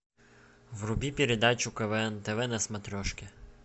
вруби передачу квн тв на смотрешке